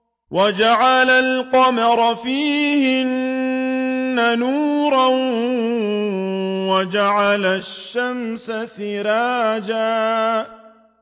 وَجَعَلَ الْقَمَرَ فِيهِنَّ نُورًا وَجَعَلَ الشَّمْسَ سِرَاجًا